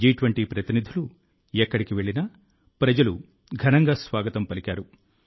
జి20 ప్రతినిధులు ఎక్కడికి వెళ్లినా ప్రజలు ఘనంగా స్వాగతం పలికారు